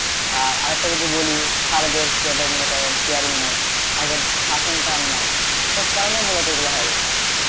আর একটা যদি বলি sir দের সেভাবে মনে করেন caring নেই আগের শাসনটা আর নেই এসব কারণে মুলত এগুলো হয়ে যাচ্ছে।